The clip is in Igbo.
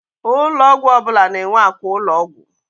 Ụlọ ọgwụ ọbụla na-enwe àkwà ụlọọgwụ.